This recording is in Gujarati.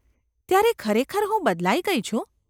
‘ત્યારે ખરેખર હું બદલાઈ ગઈ છું?